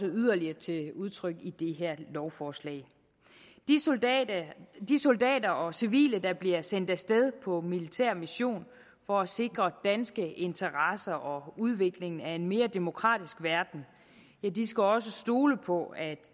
yderligere til udtryk i det her lovforslag de soldater de soldater og civile der bliver sendt af sted på militær mission for at sikre danske interesser og udviklingen af en mere demokratisk verden skal også kunne stole på at